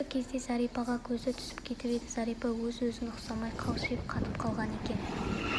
осы кезде зәрипаға көзі түсіп кетіп еді зәрипа өзіне-өзі ұқсамай қалшиып қатып қалған екен